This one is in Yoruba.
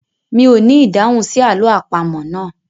Mi ò ní ìdáhùn sí àlọ́ àpamọ̀ náà.